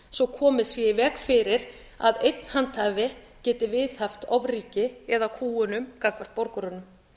svo komið sé í veg fyrir að einn handhafi geti viðhaft ofríki eða kúgun gagnvart borgurunum